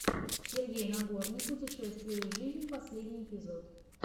сергей нагорный путешествия и жизнь последний эпизод